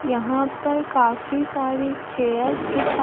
यहां पर काफी सारे चेयर्स दिखा--